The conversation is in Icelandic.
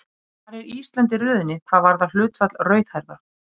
Hvar er Ísland í röðinni hvað varðar hlutfall rauðhærðra?